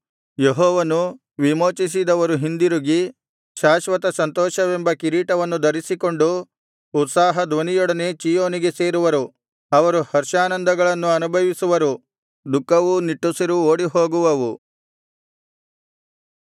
ಯೆಹೋವನು ವಿಮೋಚಿಸಿದವರು ಹಿಂದಿರುಗಿ ಶಾಶ್ವತ ಸಂತೋಷವೆಂಬ ಕಿರೀಟವನ್ನು ಧರಿಸಿಕೊಂಡು ಉತ್ಸಾಹಧ್ವನಿಯೊಡನೆ ಚೀಯೋನಿಗೆ ಸೇರುವರು ಅವರು ಹರ್ಷಾನಂದಗಳನ್ನು ಅನುಭವಿಸುವರು ದುಃಖವೂ ನಿಟ್ಟುಸಿರೂ ಓಡಿಹೋಗುವವು